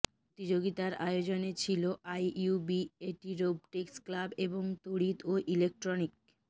প্রতিযোগিতার আয়োজনে ছিল আইইউবিএটি রোবটিক্স ক্লাব এবং তড়িৎ ও ইলেকট্রনিক